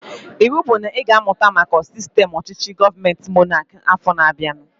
Ịwụ bụ na ị ga-amụta maka sistem ọchịchị gọọmenti monaki afọ na-abianu!